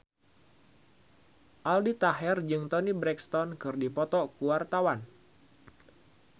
Aldi Taher jeung Toni Brexton keur dipoto ku wartawan